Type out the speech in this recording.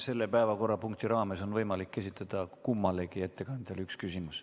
Selle päevakorrapunkti raames on võimalik esitada kummalegi ettekandjale üks küsimus.